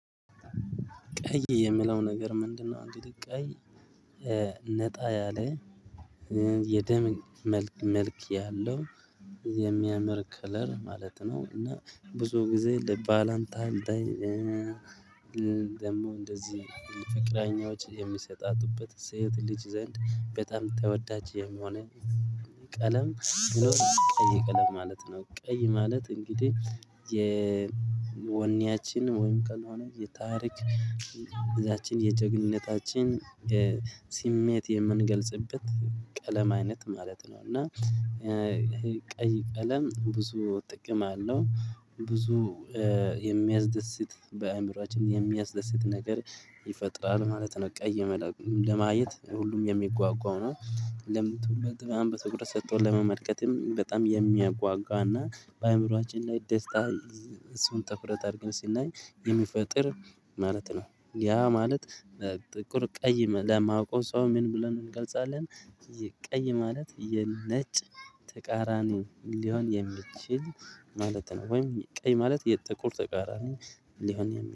ቀይ የምለው ነገር ምንድነው አንግዲህ ቀይ ነጣ ያለ የደም መልክ ያለው የሚያምር ከለር ማለት ነው። እና ብዙ ጊዜ ልባላይንተን ደይ ደግሞ እንደዚህ ፍቅረኛዎች የሚሰጣቱበት ሴት ልጅ ዘንድ በጣም ተወዳጅ የሆነ ቀለም ቢኖር ቀይ ቀለም ማለት ነው። ቀይ ማለት እንግዲህ የወኔያችን ወይም ቀን ሆነ የታሪክ ጊዚያችን የጀግንነታችን ስሜት የምንገልጽበት ቀለም አይነት ማለት ነው። እና ይሄ ቀይ ቀለም ብዙ ጥቅም አለው ብዙ የሚያስደስት በአእምሮአችን የሚያስደስት ነገር ይፈጥራል ማለት ነው። ቀይ ቀለም ለማየት ሁሉም የሚጓጓው ነው። ለምን ትኩረት በጣም በትኩረት ሰጥቶ ለመመልከትም በጣም የሚያጓጓና በአእምሮአችን ላይ ደስታ እሱን ትኩረት አድርገን ስናይ የሚፈጥር ማለት ነው። ያ ማለት በጥቁር ቀይ ለማያውቀው ሰው ምን ብለን እንገልጻለን? ቀይ ማለት የነጭ ተቃራኒ ሊሆን የሚችል ማለት ነው። ወይም ቀይ ማለት የጥቁር ተቃራኒ ሊሆን